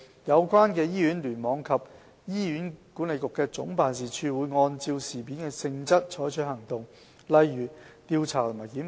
有關的醫院、聯網及醫管局總辦事處會按事件的性質採取行動，例如調查和檢討。